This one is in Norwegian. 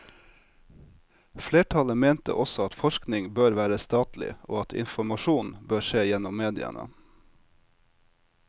Flertallet mente også at forskning bør være statlig, og at informasjon bør skje gjennom mediene.